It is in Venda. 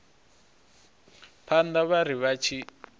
phanḓa vha ri vha tshi